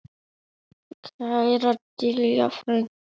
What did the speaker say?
Kæra Diljá frænka.